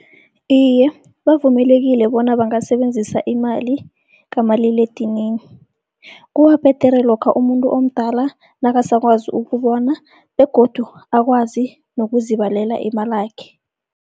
Iye, bavumelekile bona bangasebenzisa imali kamaliledinini, kubabhedere lokha umuntu omdala nakasakwazi ukubona begodu akwazi nokuzibalela imalakhe.